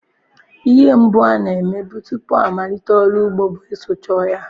Ihe mbụ a na-eme tupu amalite ọrụ ugbo bụ ịsụcha ọhịa.